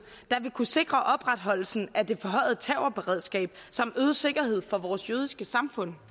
der vil kunne sikre opretholdelsen af det forhøjede terrorberedskab samt øget sikkerhed for vores jødiske samfund